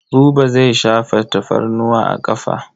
Buba zai shafa tafarnuwa a ƙafa.